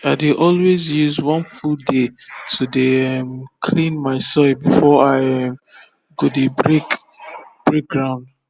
i dey always use one full day to dey um clean my soil before i um go dey break break ground